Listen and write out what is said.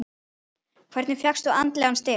Hvernig fékkstu andlegan styrk?